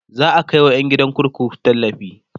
za'a Kai wa ƴan gidan kurkuku tallafi